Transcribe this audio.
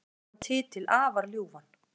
Hún sagði þennan titil afar ljúfan